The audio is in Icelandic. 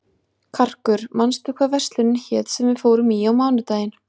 Karkur, manstu hvað verslunin hét sem við fórum í á mánudaginn?